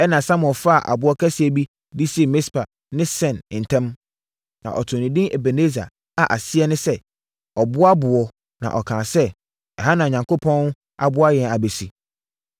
Ɛnna Samuel faa ɔboɔ kɛseɛ bi de sii Mispa ne Sen ntam. Na ɔtoo no edin Ebeneser a aseɛ ne “Ɔboa boɔ” na ɔkaa sɛ, “Ɛha na Awurade aboa yɛn abɛsi!”